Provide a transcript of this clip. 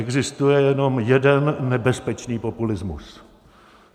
Existuje jenom jeden nebezpečný populismus.